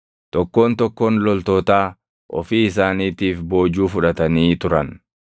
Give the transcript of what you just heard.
Tokkoon tokkoon loltootaa ofii isaaniitiif boojuu fudhatanii turan.